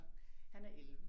Han er 11